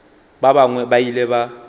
ba bangwe ba ile ba